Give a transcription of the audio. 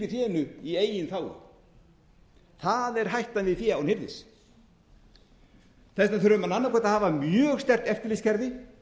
fénu í eigin þágu það er hættan í fé án hirðis þess vegna þurfa menn annað hvort að hafa mjög sterkt eftirlitskerfi